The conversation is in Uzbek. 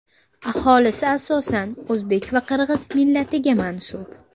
Aholisi asosan o‘zbek va qirg‘iz millatiga mansub.